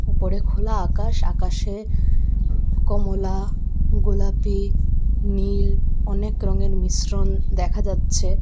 ওপরে খোলা আকাশ আকাশে কমলা গোলাপি নীল অনেক রঙের মিশ্রণ দেখা যাচ্ছে.